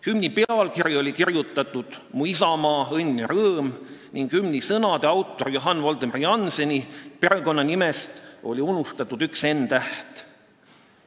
Hümni pealkiri oli kirjutatud kujul "Mu isamaa, õnn ja rõõm" ning hümni sõnade autori Johann Voldemar Jannseni perekonnanimest oli unustatud välja üks n-täht.